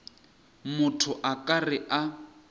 motho a ka re a